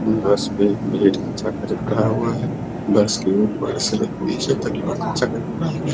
बस पे भीड़ चढ़ा हुआ है बस के ऊपर से नीचे तक लोग